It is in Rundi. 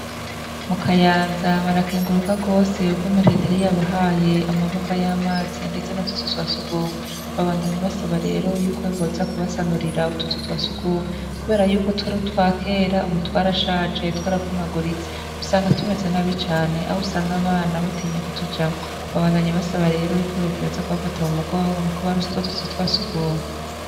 Mu Kanyanza barakenguruka gose ukuntu reta yari yabahaye amagopa y'amazindetse n'utuzu twa sugumwe. Babandanya basaba rero yuko boza kubasanurira utuzu twa sugumwe kubera yuko tur'utwakera, ubu twarashaje, twarabomaguritse usanga tumeze nabi cane, aho usanga abana batinya tukujamwo. Babandanya basaba rero yuko reta yoza kubafata mu mugongo mukubaronse utwo tuzu tw'agusumwe.